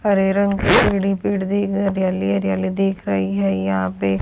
हरे रंग के पेड़ ही पेड़ दिख रहे है हरियाली ही हरियाली दिख रही है यहां पे।